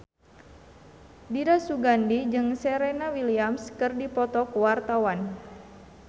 Dira Sugandi jeung Serena Williams keur dipoto ku wartawan